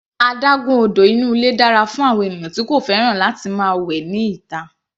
Adágún odò inú ilé dára fún àwọn ènìyàn tí kò fẹ́ràn láti máa wẹ ní ìta.